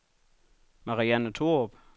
Marianne Thorup